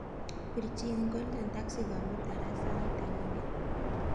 Pirchin golden taxi komutan raa sait agenge langat